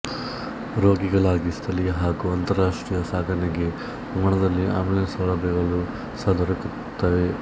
ರೋಗಿಗಳಿಗಾಗಿ ಸ್ಥಳೀಯ ಹಾಗು ಅಂತಾರಾಷ್ಟ್ರೀಯ ಸಾಗಣೆಗಾಗಿ ವಿಮಾನದಲ್ಲಿ ಅಂಬ್ಯುಲೆನ್ಸ್ ಸೌಲಭ್ಯಗಳೂ ಸಹ ದೊರಕುತ್ತವೆ